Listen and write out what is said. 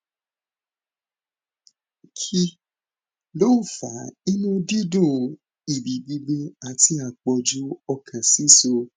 kí ló ń fa inú dídùn èébì gbigbẹ àti àpọjù ọkàn sísọ